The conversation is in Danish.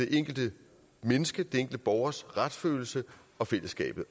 enkelte menneskes den enkelte borgers retsfølelse og fællesskabet